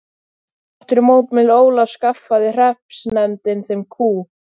Þrátt fyrir mótmæli Ólafs skaffaði hreppsnefndin þeim kú.